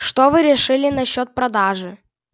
что вы решили насчёт продажи